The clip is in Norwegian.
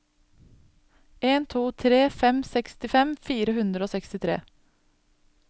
en tre to fem sekstifem fire hundre og sekstitre